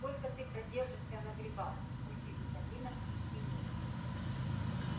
сколько ты продержишься на грибах мультивитаминах и свинине